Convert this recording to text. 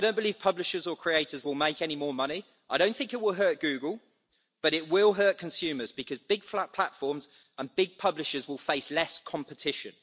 I don't believe publishers or creators will make any more money. I don't think it will hurt Google, but it will hurt consumers because big flat platforms and big publishers will face less competition.